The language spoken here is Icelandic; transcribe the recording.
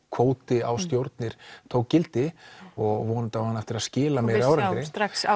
kvóti á stjórnir tók gildi og hún á hún á eftir að skila meiri árangri